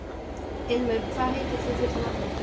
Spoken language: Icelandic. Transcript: Ilmur, hvað heitir þú fullu nafni?